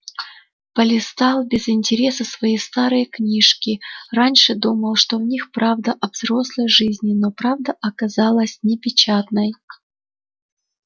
полистал без интереса свои старые книжки раньше думал в них правда о взрослой жизни но правда оказалась непечатной